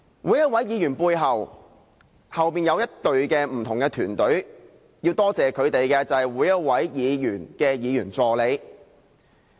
每一位議員背後都有一支團隊，要多謝每一位議員的議員助理。